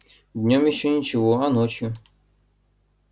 днём ещё ничего а ночью